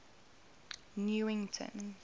newington